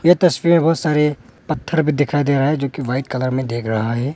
यह तस्वीर में बहुत सारे पत्थर भी दिखाई दे रहा है जो कि व्हाईट कलर में दिख रहा है।